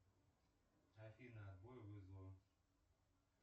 афина отбой вызова